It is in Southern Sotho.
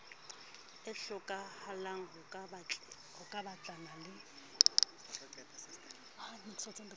e hlokahalang ho batlana le